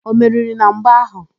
O meriri na mgba áhụ̀?